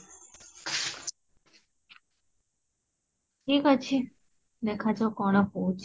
ଠିକ ଅଛି ଦେଖା ଯାଉ କଣ ହୋଉଛି